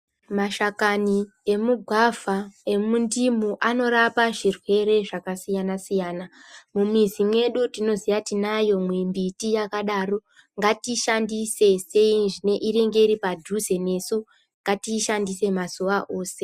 Mashakani emugwavha emundimu anorapa zvirwere zvakasiyana siyana mumizi mwedu tinoziya tinayo mimbiti yakadaro ngatiishandise seizviinenge iri padhuze nesu ngatiishandise mazuwa ese .